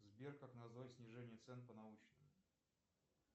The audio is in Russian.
сбер как назвать снижение цен по научному